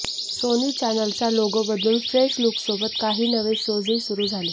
Sony चॅनलचा logo बदलून fresh लुकसोबत काही नवे शोजही सुरू झाले